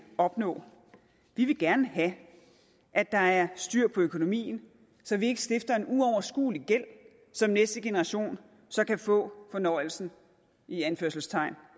opnå vi vil gerne have at der er styr på økonomien så vi ikke stifter en uoverskuelig gæld som næste generation så kan få fornøjelsen i anførselstegn